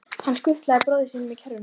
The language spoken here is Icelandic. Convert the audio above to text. Hann skutlaði bróður sínum í kerruna.